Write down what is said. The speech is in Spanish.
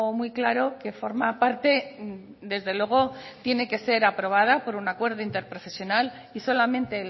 muy claro que forma parte desde luego tiene que ser aprobada por un acuerdo interprofesional y solamente